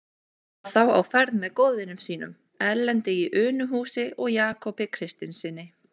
Hann var þá á ferð með góðvinum sínum, Erlendi í Unuhúsi og Jakobi Kristinssyni.